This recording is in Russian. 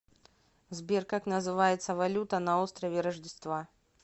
сбер как называется валюта на острове рождества